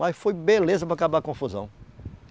Mas foi beleza para acabar a confusão.